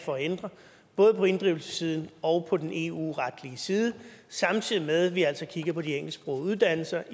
for at ændre både på inddrivelsessiden og på den eu retlige side samtidig med at vi altså kigger på de engelsksprogede uddannelser